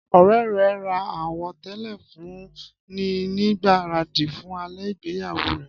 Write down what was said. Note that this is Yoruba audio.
Ọ̀rẹ́ rẹ̀ ra àwọ̀tẹ́lẹ̀ fún un ní ìgbáradì fún alẹ́ ìgbéyàwó rẹ.